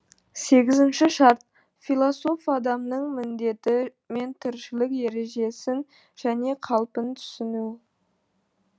сегізінші шарт философ адамның міндеті мен тіршілік ережесін және қалпын түсіну